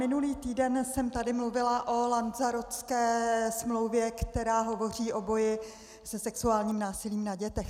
Minulý týden jsem tady mluvila o Lanzarotské úmluvě, která hovoří o boji se sexuálním násilím na dětech.